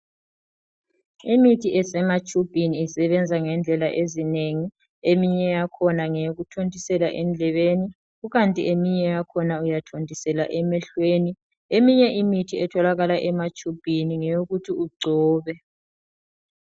Imithi esematshubhini isebenza ngendlela ezinengi, eminye yakhona ngeyokuthontisela endlebeni eminye yakhona uyathontisela emehlweni , eminye imithi etholakala ematshubhini ngeyokuthi ugcobe .